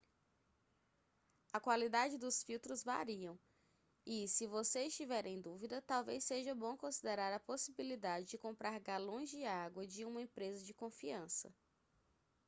a qualidade dos filtros variam e se você estiver em dúvida talvez seja bom considerar a possibilidade de comprar galões de água de uma empresa de confiança